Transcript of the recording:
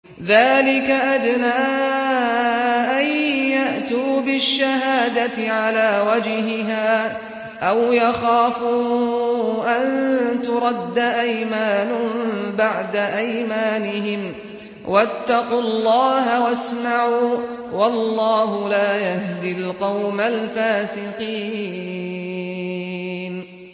ذَٰلِكَ أَدْنَىٰ أَن يَأْتُوا بِالشَّهَادَةِ عَلَىٰ وَجْهِهَا أَوْ يَخَافُوا أَن تُرَدَّ أَيْمَانٌ بَعْدَ أَيْمَانِهِمْ ۗ وَاتَّقُوا اللَّهَ وَاسْمَعُوا ۗ وَاللَّهُ لَا يَهْدِي الْقَوْمَ الْفَاسِقِينَ